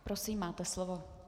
Prosím, máte slovo.